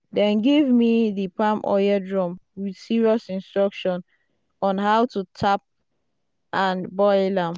"dem give me di palm oil drum with serious instruction on how to tap and boil am."